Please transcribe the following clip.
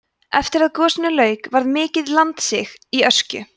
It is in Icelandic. eftir að gosinu lauk varð mikið landsig í öskju